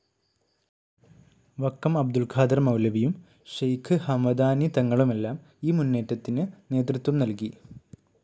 വക്കം അബ്ദുൾ ഖാദർ മൗലവിയും, ഷെയ്ഖ്‌ ഹമദാനി തങ്ങളുമെല്ലാം ഈ മുന്നേറ്റത്തിന് നേതൃത്വം നൽകി.